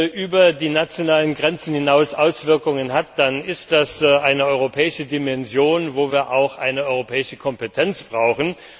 Wenn etwas über die nationalen Grenzen hinaus Auswirkungen hat, dann ist das eine europäische Dimension, für die wir auch eine europäische Kompetenz brauchen.